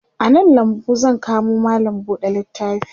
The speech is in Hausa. a nan lambu zan kamo mallam buɗe littafi